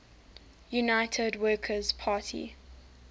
united workers party